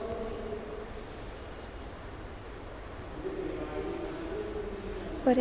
पर्या